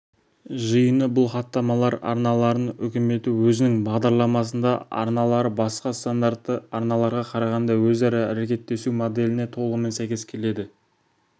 жиыны бұл хаттамалар арналарын үкіметі өзінің бағдарламасында арналары басқа стандартты арналарға қарағанда өзара әрекеттесу моделіне толығымен сәйкес келеді